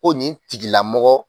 Ko nin tigilamɔgɔ.